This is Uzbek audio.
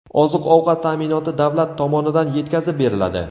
Oziq-ovqat ta’minoti davlat tomonidan yetkazib beriladi.